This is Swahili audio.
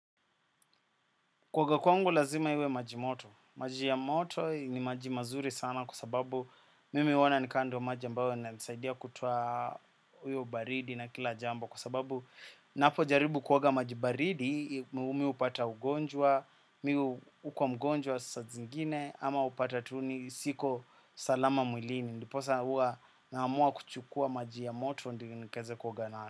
Kuoga kwangu lazima iwe maji moto. Maji ya moto ni maji mazuri sana kwa sababu mimi huona ni kama ndiyo maji ambayo inanisaidia kutoa hiyo baridi na kila jambo kwa sababu ninapo jaribu kuoga maji baridi mimi hupata ugonjwa, mimi huwa mgonjwa saa zingine ama upata tu siko salama mwilini. Ndiposa huwa naamua kuchukua maji ya moto ndiyo nikaweze kuoga nayo.